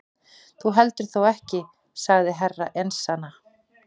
Þú heldur þó ekki sagði Herra Enzana.